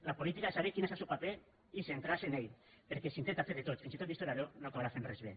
la política és saber quin és el seu paper i centrar se en ell perquè si intenta fer de tot fins i tot d’historiador no acabarà fent res bé